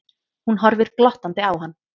Hún horfir glottandi á hann.